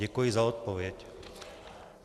Děkuji za odpověď.